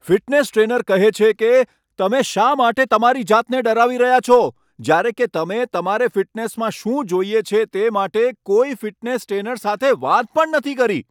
Fitness trainer કહે છે કે, તમે શા માટે તમારી જાતને ડરાવી રહ્યા છો જ્યારે કે તમે તમારે ફિટનેસમાં શું જોઈએ છે તે માટે કોઈ ફિટનેસ ટ્રેનર સાથે વાત પણ નથી કરી?